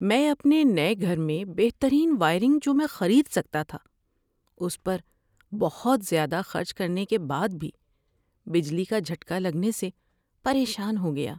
میں اپنے نئے گھر میں بہترین وائرنگ جو میں خرید سکتا تھا، اس پر بہت زیادہ خرچ کرنے کے بعد بھی بجلی کا جھٹکا لگنے سے پریشان ہو گیا۔